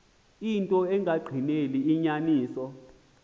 into engagqineli inyaniso